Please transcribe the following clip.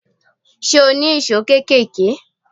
Ṣé o ní ìṣó kéékèèké?